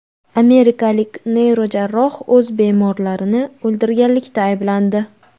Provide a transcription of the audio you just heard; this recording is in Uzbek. Amerikalik neyrojarroh o‘z bemorlarini o‘ldirganlikda ayblandi.